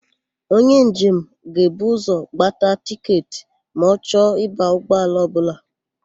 Onye njem ga-ebu ụzọ gbata tịketị ma ọ chọ ịba ụgbọala ọbụla.